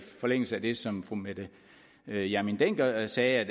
forlængelse af det som fru mette hjermind dencker sagde